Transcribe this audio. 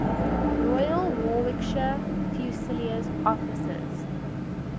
royal warwickshire fusiliers officers